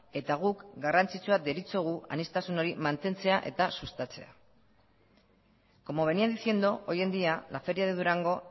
eta guk garrantzitsua deritzogu aniztasun hori mantentzea eta sustatzea como venía diciendo hoy en día la feria de durango